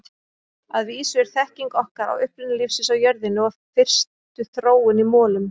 Að vísu er þekking okkar á uppruna lífsins á jörðinni og fyrstu þróun í molum.